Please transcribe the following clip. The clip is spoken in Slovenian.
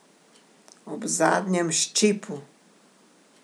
Ob zadnjem ščipu?